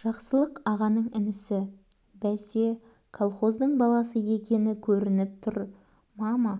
жақсылық ағаның інісі бәсе колхоздың баласы екені көрініп тұр мама